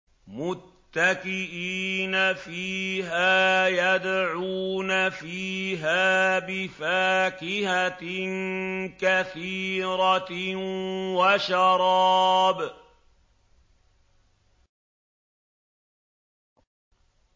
مُتَّكِئِينَ فِيهَا يَدْعُونَ فِيهَا بِفَاكِهَةٍ كَثِيرَةٍ وَشَرَابٍ